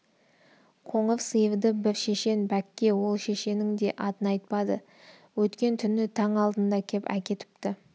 қоңыр сиырды бір шешен бәкке ол шешеннің де атын айтпады өткен түні таң алдында кеп әкетіпті